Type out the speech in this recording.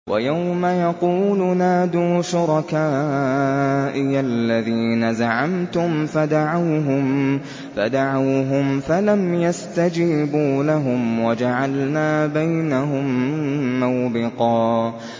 وَيَوْمَ يَقُولُ نَادُوا شُرَكَائِيَ الَّذِينَ زَعَمْتُمْ فَدَعَوْهُمْ فَلَمْ يَسْتَجِيبُوا لَهُمْ وَجَعَلْنَا بَيْنَهُم مَّوْبِقًا